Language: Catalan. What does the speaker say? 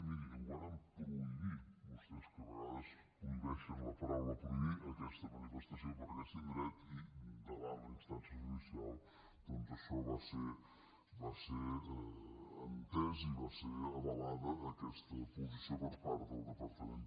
miri vàrem prohibir vostès que a vegades prohibeixen la paraula prohibir aquesta manifestació per aquest indret i davant la instància judicial doncs això va ser entès i va ser avalada aquesta posició per part del departament